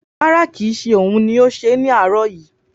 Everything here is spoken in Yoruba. Rárá, kì í ṣe òun ni ó ṣẹ́ ní àárọ̀ yìí.